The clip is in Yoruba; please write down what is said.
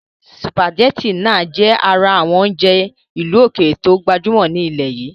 Sùpàgétì náà jẹ ara àwọn oúnjẹ ìlú ókéré to gbajúmọ̀ ní ilẹ́ yìí